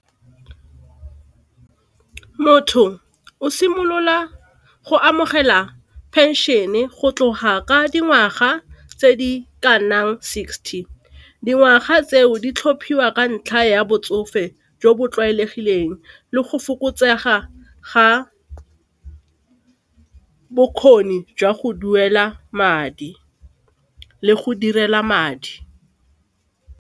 Motho o simolola go amogela pension-e go tloga ka dingwaga tse di ka nnang sixty. Dingwaga tseo di tlhophiwa ka ntlha ya botsofe jo bo tlwaelegileng le go fokotsega ga bokgoni jwa go duela madi le go direla madi.